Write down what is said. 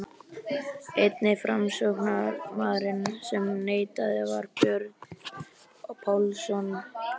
Eini framsóknarmaðurinn sem neitaði var Björn Pálsson á